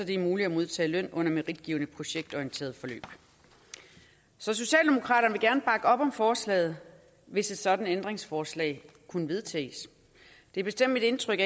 det er muligt at modtage løn under meritgivende projektorienterede forløb så socialdemokraterne vil gerne bakke op om forslaget hvis et sådant ændringsforslag kunne vedtages det er bestemt mit indtryk